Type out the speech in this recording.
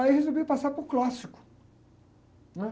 Aí eu resolvi passar para o clássico, né?